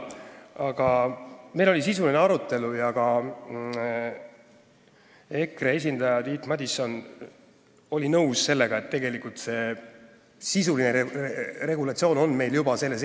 Aga meil oli sisuline arutelu ja ka EKRE esindaja Tiit Madison oli nõus sellega, et tegelikult on see regulatsioon juba olemas.